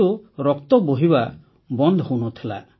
କିନ୍ତୁ ରକ୍ତ ବୋହିବା ବନ୍ଦ ହେଉନଥିଲା